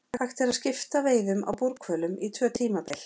Hægt er að skipta veiðum á búrhvölum í tvö tímabil.